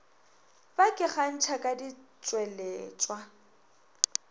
ba ke kgantšha ka ditšweletšwa